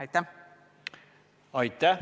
Aitäh!